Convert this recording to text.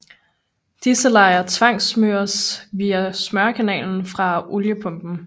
Disse lejer tvangssmøres via smørekanaler fra oliepumpen